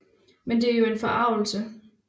Men det er jo en forargelse